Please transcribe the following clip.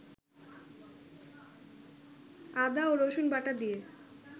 আদাও রসুনবাটাদিয়ে